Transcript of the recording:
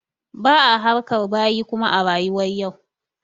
Ba'a harkar bayi kuma a rayuwar yau.